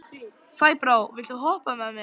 Sæbrá, viltu hoppa með mér?